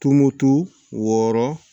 Tumutu wɔɔrɔ